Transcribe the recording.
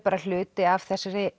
hluti af þessari